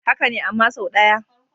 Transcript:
Haka ne, amma sau ɗaya.